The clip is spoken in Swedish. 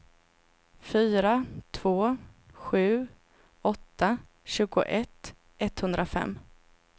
fyra två sju åtta tjugoett etthundrafem